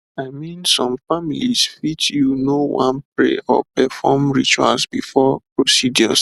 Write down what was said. i mean some families fit you know wan pray or perform rituals before procedures